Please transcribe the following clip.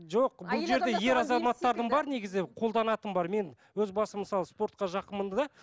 жоқ колданатын бар мен өз басым мысалы спортқа жақынмын да